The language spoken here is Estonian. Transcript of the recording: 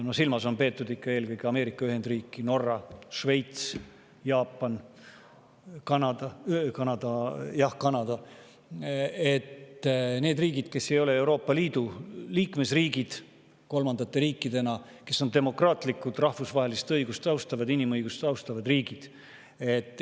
Silmas on peetud eelkõige ikka selliseid riike nagu Ameerika Ühendriigid, Norra, Šveits, Jaapan, Kanada – neid riike, kes ei ole Euroopa Liidu liikmesriigid kolmandate riikidena, aga kes on demokraatlikud, rahvusvahelist õigust ja inimõigusi austavad riigid.